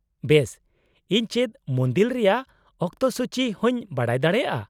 -ᱵᱮᱥ! ᱤᱧ ᱪᱮᱫ ᱢᱩᱱᱫᱤᱞ ᱨᱮᱭᱟᱜ ᱚᱠᱛᱚᱥᱩᱪᱤ ᱦᱚᱸᱧ ᱵᱟᱰᱟᱭ ᱫᱟᱲᱮᱭᱟᱜᱼᱟ ?